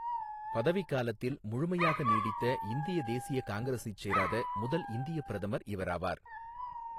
பதவிக் காலத்தில் முழுமையாக நீடித்த இந்திய தேசிய காங்கிரசைச் சேராத முதல் இந்தியப் பிரதமர் இவராவார்.